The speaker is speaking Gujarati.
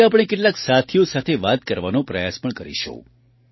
આજે આપણે કેટલાક સાથીઓ સાથે વાત કરવાનો પ્રયાસ પણ કરીશું